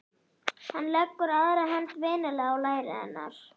Hann leggur aðra hönd vinalega á læri hennar.